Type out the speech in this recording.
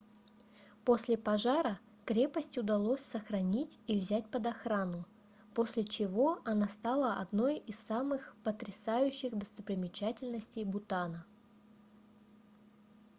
после пожара крепость удалось сохранить и взять под охрану после чего она стала одной из самых потрясающих достопримечательностей бутана